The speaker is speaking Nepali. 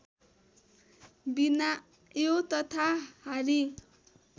बिनायो तथा हारी